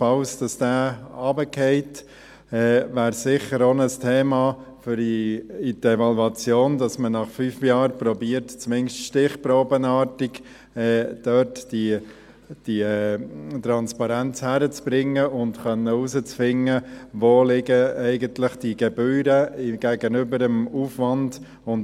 Falls dieser fällt, wäre es sicher auch ein Thema für die Evaluation, dass man nach fünf Jahren versucht, zumindest stichprobenartig diese Transparenz dort hinzubekommen und herauszufinden, wo eigentlich diese Gebühren gegenüber dem Aufwand liegen.